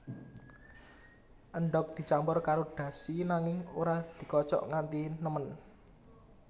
Endhog dicampur karo dashi nanging ora dikocok nganti nemen